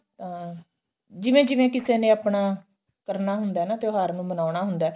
ਅਹ ਜਿਵੇਂ ਜਿਵੇਂ ਕਿਸੀ ਨੇ ਆਪਣਾ ਕਰਨਾ ਹੁੰਦਾ ਨਾ ਤਿਓਹਾਰ ਨੂੰ ਮਨਾਉਣਾ ਹੁੰਦਾ